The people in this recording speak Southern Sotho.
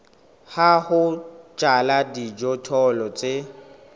ya ho jala dijothollo tse